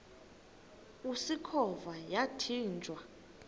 usikhova yathinjw a